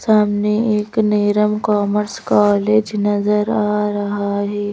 सामने एक नेरम कॉमर्स कॉलेज नजर आ रहा है।